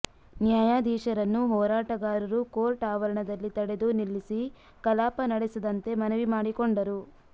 ನ್ಯಾಯಾಧೀಶರನ್ನು ಹೋರಾಟಗಾರರು ಕೋರ್ಟ್ ಆವರಣದಲ್ಲಿ ತಡೆದು ನಿಲ್ಲಿಸಿ ಕಲಾಪ ನಡೆಸದಂತೆ ಮನವಿ ಮಾಡಿಕೊಂಡರು